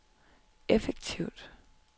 effektivt